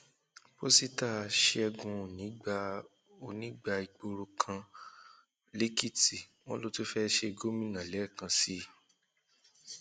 pọsíta ṣẹgun òní gba òní gba ìgboro kan um lèkìtì wọn ló tún fẹẹ ṣe gómìnà lẹẹkan sí i um